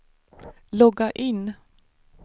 logga in